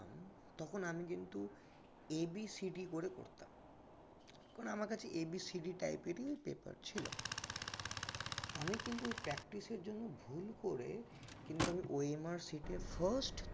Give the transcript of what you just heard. তখন আমি কিন্তু A B C D করে করতাম কারণ আমার কাছে A B C D type এর ই paper ছিল আমি কিন্তু ওই practice এর জন্য ভুল করে কিন্তু আমি OMR sheet এ first